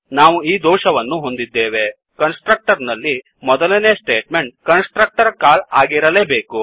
ನಾವು ಈ ದೋಷವನ್ನು ಹೊಂದಿದ್ದೇವೆ ಕನ್ಸ್ ಟ್ರಕ್ಟರ್ ನಲ್ಲಿ ಮೊದಲನೇ ಸ್ಟೇಟ್ ಮೆಂಟ್ ಕನ್ಸ್ ಟ್ರಕ್ಟರ್ ಕಾಲ್ಆಗಿರಲೇಬೇಕು